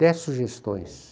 Dez sugestões.